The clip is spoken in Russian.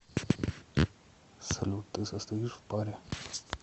салют ты состоишь в паре